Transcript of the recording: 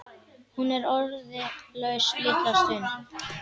Hún er orðlaus litla stund.